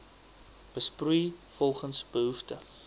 besproei volgens behoefte